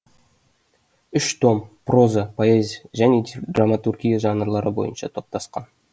үш том проза поэзия және драматургия жанрлары бойынша топтасқан